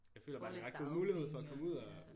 Får lidt dagpenge og ja